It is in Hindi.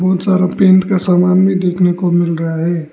सारा पेंट का सामान में देखने को मिल रहा है।